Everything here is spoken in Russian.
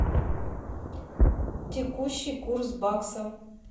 текущий курс бакса